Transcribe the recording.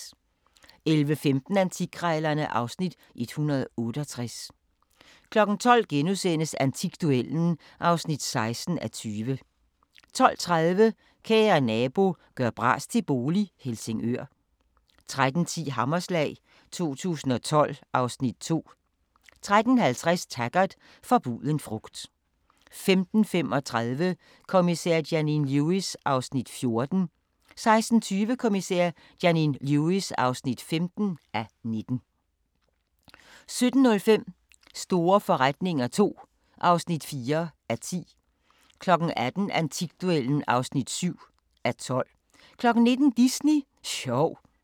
11:15: Antikkrejlerne (Afs. 168) 12:00: Antikduellen (16:20)* 12:30: Kære nabo – gør bras til bolig - Helsingør 13:10: Hammerslag 2012 (Afs. 2) 13:50: Taggart: Forbuden frugt 15:35: Kommissær Janine Lewis (14:19) 16:20: Kommissær Janine Lewis (15:19) 17:05: Store forretninger II (4:10) 18:00: Antikduellen (7:12) 19:00: Disney sjov